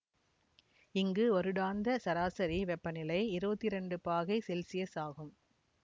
இங்கு வருடாந்த சராசரி வெப்பநிலை இருவத்தி இரண்டு பாகை செல்சியஸ் ஆகும்